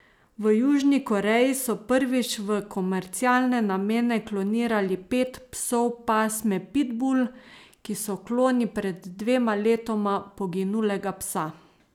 V Južni Koreji so prvič v komercialne namene klonirali pet psov pasme pitbul, ki so kloni pred dvema letoma poginulega psa.